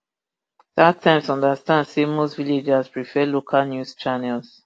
startimes understand say most villagers prefer local news channels